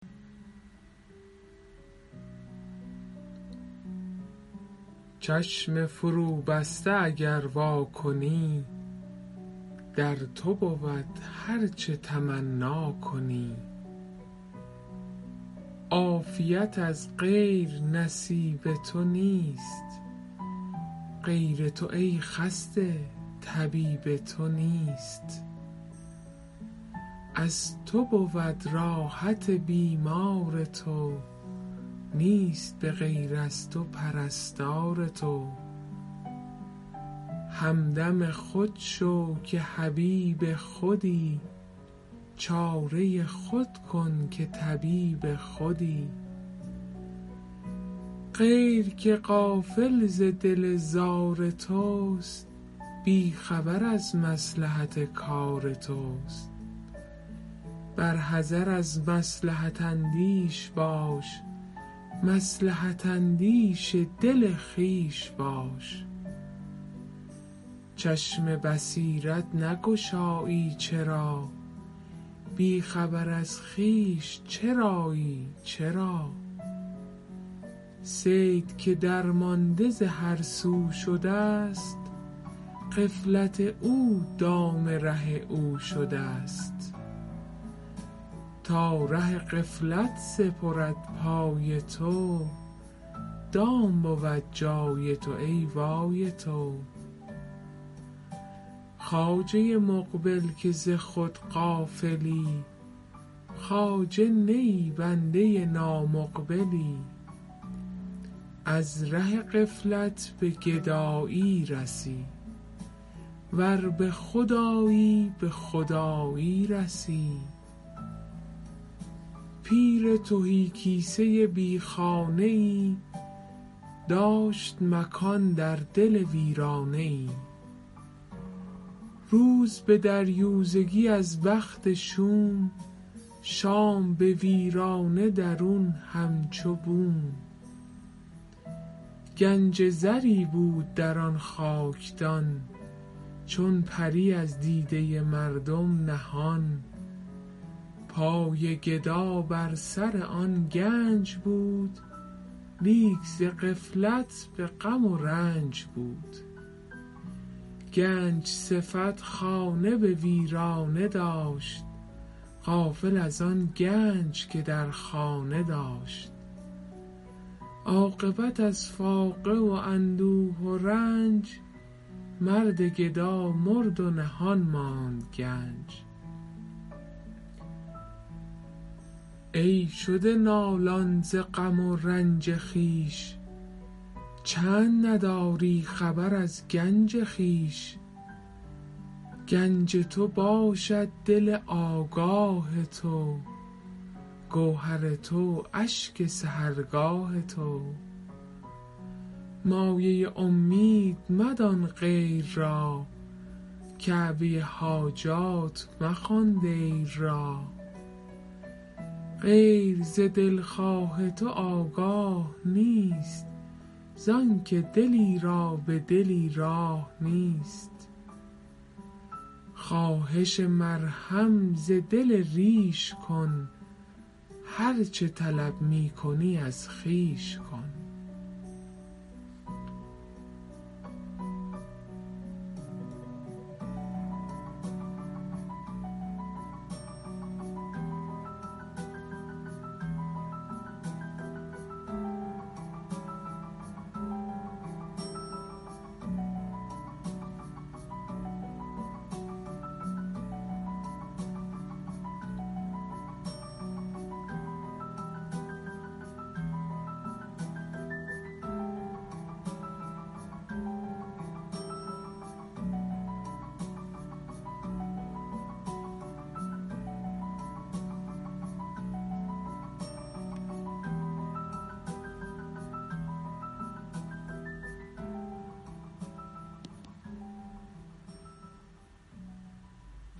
چشم فروبسته اگر وا کنی در تو بود هرچه تمنا کنی عافیت از غیر نصیب تو نیست غیر تو ای خسته طبیب تو نیست از تو بود راحت بیمار تو نیست به غیر از تو پرستار تو همدم خود شو که حبیب خودی چاره خود کن که طبیب خودی غیر که غافل ز دل زار توست بی خبر از مصلحت کار توست بر حذر از مصلحت اندیش باش مصلحت اندیش دل خویش باش چشم بصیرت نگشایی چرا بی خبر از خویش چرایی چرا صید که درمانده ز هرسو شده ست غفلت او دام ره او شده ست تا ره غفلت سپرد پای تو دام بود جای تو ای وای تو خواجه مقبل که ز خود غافلی خواجه نه ای بنده نامقبلی از ره غفلت به گدایی رسی ور به خود آیی به خدایی رسی پیر تهی کیسه بی خانه ای داشت مکان در دل ویرانه ای روز به دریوزگی از بخت شوم شام به ویرانه درون همچو بوم گنج زری بود در آن خاکدان چون پری از دیده مردم نهان پای گدا بر سر آن گنج بود لیک ز غفلت به غم و رنج بود گنج صفت خانه به ویرانه داشت غافل از آن گنج که در خانه داشت عاقبت از فاقه و اندوه و رنج مرد گدا مرد و نهان ماند گنج ای شده نالان ز غم و رنج خویش چند نداری خبر از گنج خویش گنج تو باشد دل آگاه تو گوهر تو اشک سحرگاه تو مایه امید مدان غیر را کعبه حاجات مخوان دیر را غیر ز دلخواه تو آگاه نیست زآن که دلی را به دلی راه نیست خواهش مرهم ز دل ریش کن هرچه طلب می کنی از خویش کن